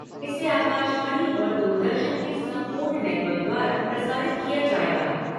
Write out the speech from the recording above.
इसे आकाशवाणी और दूरदर्शन के संपूर्ण नेटवर्क द्वारा प्रसारित किया जाएगा।